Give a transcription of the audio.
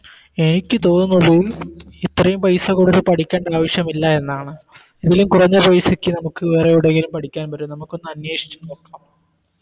എനിക്ക് തോന്നുന്നത് ഇത്രയും പൈസ കൊടുത്ത് പഠിക്കണ്ട ആവശ്യമില്ല എന്നാണ് ഇതിലും കുറഞ്ഞ് പൈസക്ക് നമുക്ക് വേറെ എവിടെങ്കിലും പഠിക്കാൻ പറ്റും നമുക്കൊന്ന് അന്വേഷിച്ച് നോക്കാം